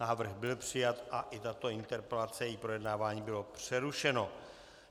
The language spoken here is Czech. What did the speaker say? Návrh byl přijat a i tato interpelace, její projednávání bylo přerušeno.